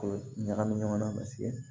ɲagami ɲɔgɔn na paseke